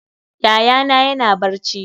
Yayana yana barci.